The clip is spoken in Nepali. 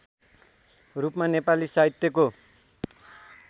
रूपमा नेपाली साहित्यको